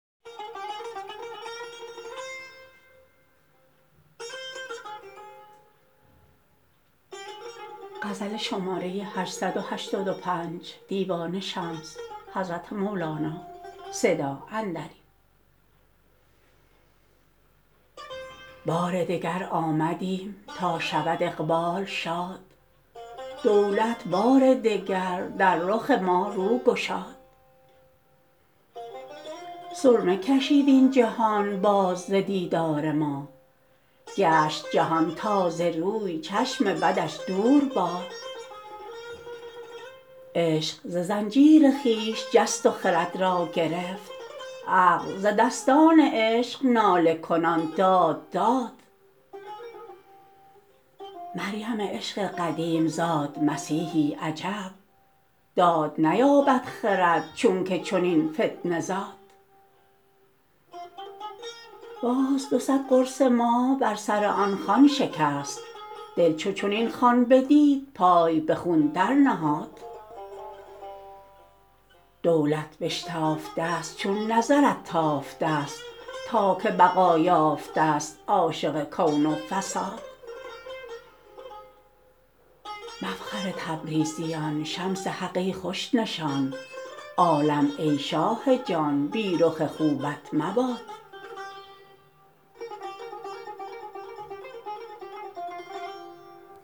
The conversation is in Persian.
بار دگر آمدیم تا شود اقبال شاد دولت بار دگر در رخ ما رو گشاد سرمه کشید این جهان باز ز دیدار ما گشت جهان تازه روی چشم بدش دور باد عشق ز زنجیر خویش جست و خرد را گرفت عقل ز دستان عشق ناله کنان داد داد مریم عشق قدیم زاد مسیحی عجب داد نیابد خرد چونک چنین فتنه زاد باز دو صد قرص ماه بر سر آن خوان شکست دل چو چنین خوان بدید پای به خون درنهاد دولت بشتافته ست چون نظرت تافته ست تا که بقا یافته ست عاشق کون و فساد مفخر تبریزیان شمس حق ای خوش نشان عالم ای شاه جان بی رخ خوبت مباد